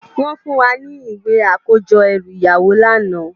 Wòn fún wá ni iwé àkójò èrú iyáwó làná